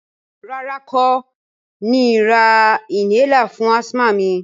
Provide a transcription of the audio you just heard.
Rárá, n kò ni ra inhaler fún asthma mi